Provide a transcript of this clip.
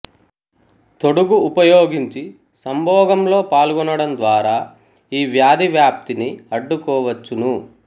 తొడుగు ఉపయోగించి సంభోగం లో పాల్గొనడం ద్వారా ఈ వ్యాధి వ్యాప్తిని అడ్డుకోవచ్చును